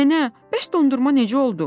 Nənə, bəs dondurma necə oldu?